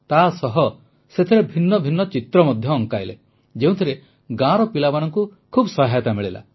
ତାସହ ସେଥିରେ ଭିନ୍ନ ଭିନ୍ନ ଚିତ୍ର ମଧ୍ୟ ଅଙ୍କାଇଲେ ଯେଉଁଥିରେ ଗାଁର ପିଲାମାନଙ୍କୁ ବହୁତ ସହାୟତା ମିଳିଲା